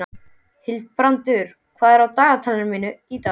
Hildibrandur, hvað er á dagatalinu mínu í dag?